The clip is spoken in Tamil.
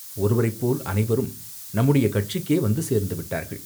ஒருவரைப் போல் அனைவரும் நம்முடைய கட்சிக்கே வந்து சேர்ந்து விட்டார்கள்!